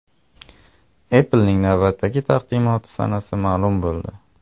Apple’ning navbatdagi taqdimoti sanasi ma’lum bo‘ldi.